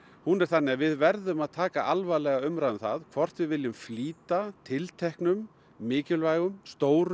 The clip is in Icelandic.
hún er þannig að við verðum að taka alvarlega umræðu um það hvort við viljum flýta tilteknum mikilvægum stórum